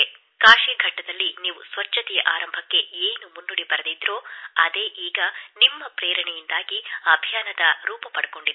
ಕಾಶಿಯ ಘಾಟ್ ಗಳಲ್ಲಿ ನೀವು ಸ್ವಚ್ಛತೆಯ ಆರಂಭಕ್ಕೆ ಏನು ಮುನ್ನುಡಿ ಬರೆದಿದ್ದಿರೋ ಅದೇ ಈಗ ನಿಮ್ಮ ಪ್ರೇರಣೆಯಿಂದಾಗಿ ಅಭಿಯಾನದ ರೂಪ ಪಡೆದಿದೆ